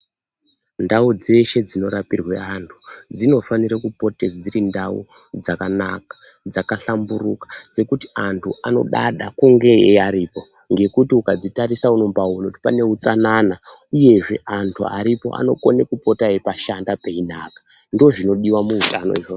Ndau dzeshe dzinorapirwe antu dzinofanire kupote dziri ndau dzakanaka dzakahlamburuka dzekuti antu anodada kunge aripo. Ngekuti ukadzitarisa unombaaone kuti pane utsanana uyezve antu aripo anogone kupota eipashanda peinaka, ndozvinodiwa muutano izvozvo.